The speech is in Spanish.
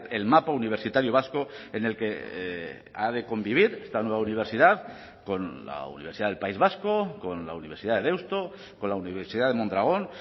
el mapa universitario vasco en el que ha de convivir esta nueva universidad con la universidad del país vasco con la universidad de deusto con la universidad de mondragón